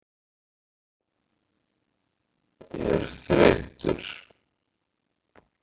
er þreyttur?